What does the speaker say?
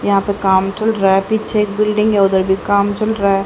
यहां पर काम चल रहा है पीछे एक बिल्डिंग है उधर भी काम चल रहा है।